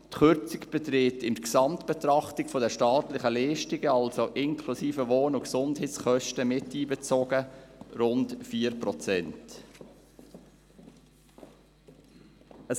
Die Kürzung beträgt in der Gesamtbetrachtung der staatlichen Leistungen, also Wohn- und Gesundheitskosten miteinbezogen, rund 4 Prozent.